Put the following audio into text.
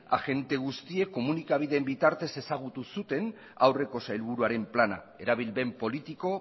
agente guztiek komunikabideen bitartez ezagutu zuten aurreko sailburuaren plana erabilpen politiko